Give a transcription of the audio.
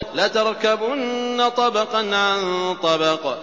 لَتَرْكَبُنَّ طَبَقًا عَن طَبَقٍ